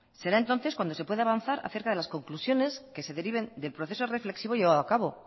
será entonces cuando se pueda avanzar acerca de las conclusiones que se deriven del proceso reflexivo llevado a cabo